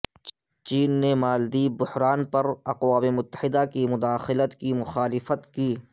چین نے مالدیپ بحران پر اقوام متحدہ کی مداخلت کی مخالفت کی